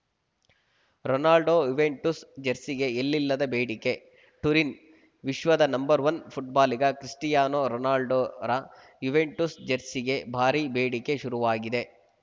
Ronaldo Juventus ಜೆರ್ಸಿಗೆ ಎಲ್ಲಿಲ್ಲದ ಬೇಡಿಕೆ ಟ್ಯುರಿನ್‌ ವಿಶ್ವದ ನಂಬರ್ ಒನ್ ಫುಟ್ಬಾಲಿಗ ಕ್ರಿಸ್ಟಿಯಾನೋ ರೊನಾಲ್ಡೋರ ಯುವೆಂಟುಸ್‌ ಜೆರ್ಸಿಗೆ ಭಾರೀ ಬೇಡಿಕೆ ಶುರುವಾಗಿದೆ